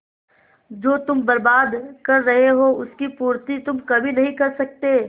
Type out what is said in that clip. जो तुम बर्बाद कर रहे हो उसकी पूर्ति तुम कभी नहीं कर सकते